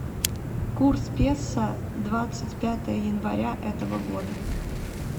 курс песо двадцать пятое января этого года